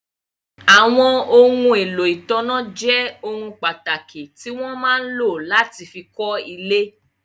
Àwọn ohun èlò ìtanná jẹ́ ohun pàtàkì tí wọ́n máa ń lò láti fí kọ́ ilé.